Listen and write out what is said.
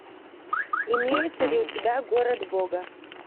имеется ли у тебя город бога